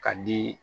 Ka di